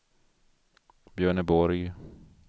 Björneborg